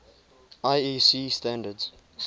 iec standards